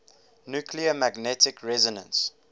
nuclear magnetic resonance